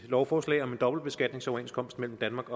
lovforslag om en dobbeltbeskatningsoverenskomst mellem danmark